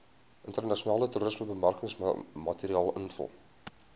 internasionale toerismebemarkingsmateriaal invul